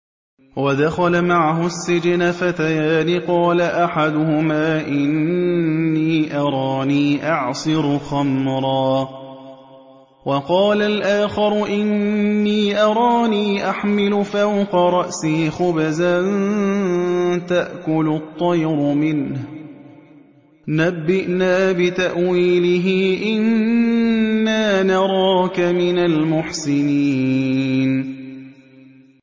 وَدَخَلَ مَعَهُ السِّجْنَ فَتَيَانِ ۖ قَالَ أَحَدُهُمَا إِنِّي أَرَانِي أَعْصِرُ خَمْرًا ۖ وَقَالَ الْآخَرُ إِنِّي أَرَانِي أَحْمِلُ فَوْقَ رَأْسِي خُبْزًا تَأْكُلُ الطَّيْرُ مِنْهُ ۖ نَبِّئْنَا بِتَأْوِيلِهِ ۖ إِنَّا نَرَاكَ مِنَ الْمُحْسِنِينَ